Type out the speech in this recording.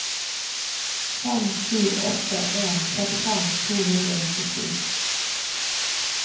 fem sju åtte en trettifem to hundre og nittisju